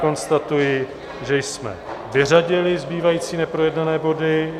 Konstatuji, že jsme vyřadili zbývající neprojednané body.